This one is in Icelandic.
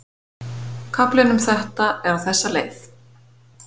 Kaflinn um þetta er á þessa leið